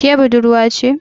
Ke budurwa ce?